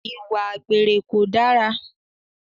Ìwà àgbèrè kò dára